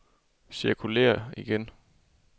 cirkulér igen